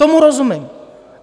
Tomu rozumím.